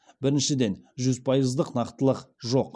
біріншіден жүз пайыздық нақтылық жоқ